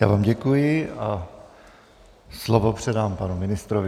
Já vám děkuji a slovo předám panu ministrovi.